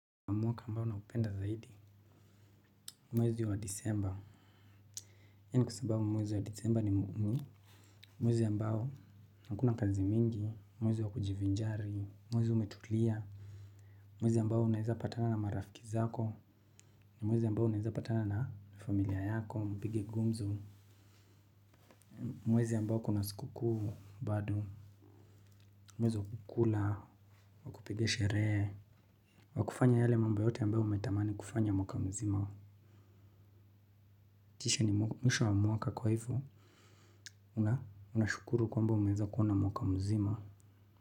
Mwaka ambao naupenda zaidi. Mwezi wa disemba. Hii ni kusababu mwezi wa disemba ni muimu. Mwezi ambao hakuna kazi mingi. Mwezi wa kujivinjari. Mwezi umetulia. Mwezi ambao unaeza patana na marafiki zako. Mwezi ambao unaeza patana na familia yako mpige gumzo. Mwezi ambao kuna siku kuu bado. Mwezi wa kukula. Kupiga sherehe. Wa kufanya yale mambo yote ambao umetamani kufanya mwaka mzima. Kisha ni mwisho wa mwaka kwa hivo. Unashukuru kwamba umeweza kuona mwaka mzima.